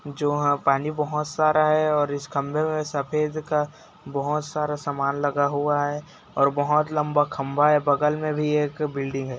जो है पानी बहोत सारा है और इस खम्बे मई सफेद का बहोत सारा सामान लगा हुआ है और बहोत लम्बा खम्भा है बगल में भी एक बिल्डिंग है।